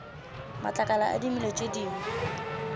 matlakala a dimela tše dingwe